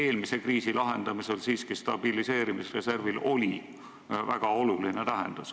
Eelmise kriisi lahendamisel oli stabiliseerimisreservil siiski väga oluline tähendus.